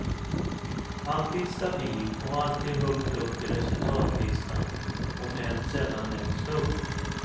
Alltid stabil och alltid högt upp i resultatlistan, om än sällan längst upp.